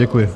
Děkuji.